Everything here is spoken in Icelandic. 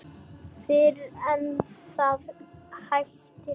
Fyrr en það hættir.